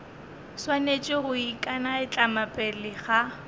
swanetše go ikanaitlama pele ga